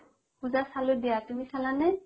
পুজা চালো দিয়া তুমি চালা নে?